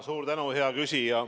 Suur tänu, hea küsija!